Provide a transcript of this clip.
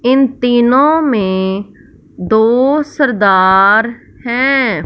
इन तीनों में दो सरदार हैं।